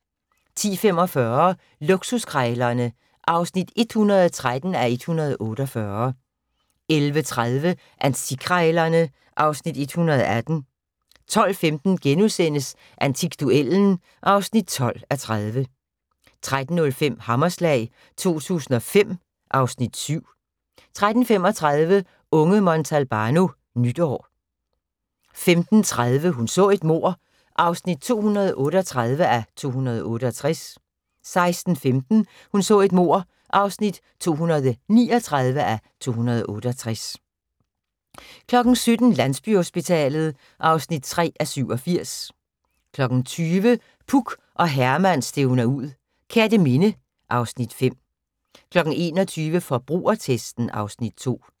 10:45: Luksuskrejlerne (113:148) 11:30: Antikkrejlerne (Afs. 118) 12:15: Antikduellen (12:30)* 13:05: Hammerslag 2005 (Afs. 7) 13:35: Unge Montalbano: Nytår 15:30: Hun så et mord (238:268) 16:15: Hun så et mord (239:268) 17:00: Landsbyhospitalet (3:87) 20:00: Puk og Herman stævner ud - Kerteminde (Afs. 5) 21:00: Forbrugertesten (Afs. 2)